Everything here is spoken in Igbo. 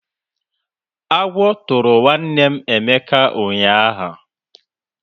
Agwọ tụrụ nwanne Emeka ụnyaahụ.